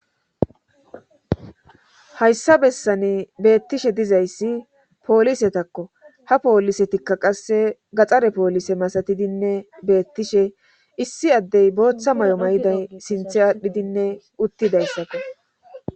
hayssa bessani beettishe dizayssi poolisetakko ha poolisetikka qasse gaxare poolise masatidinne beettishe issi addey booththa may7o may7iday sinthe aadhdhidinne uttidayssato